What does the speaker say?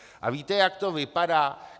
A víte, jak to vypadá?